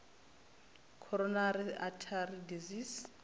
coronary artery disease